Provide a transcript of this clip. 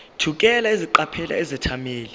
thukela eqaphela izethameli